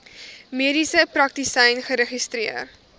mediese praktisyn geregistreer